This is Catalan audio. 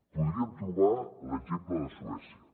podríem trobar l’exemple de suècia